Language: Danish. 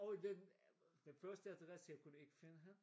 Og den den først adresse jeg kunne ikke finde hende